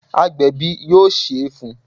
Agbẹ̀bi yóò Ṣé fun